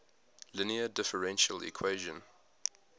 linear differential equation